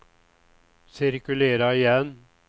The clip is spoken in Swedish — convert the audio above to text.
cirkulera igen